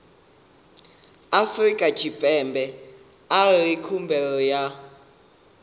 afrika tshipembe arali khumbelo vha